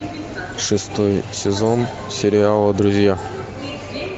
шестой сезон сериала друзья